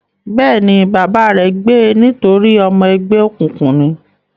Bẹ́ẹ̀ ni, bàbá rẹ̀ gbe nítorí ọmọ ẹgbẹ́ òkùnkùn ni.